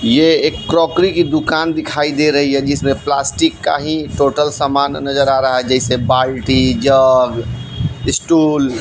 ये एक क्रोकरी की दुकान दिखाई दे रही है जिसमें प्लास्टिक का ही टोटल समान नजर आ रहा है जैसे बाल्टी जग स्टूल --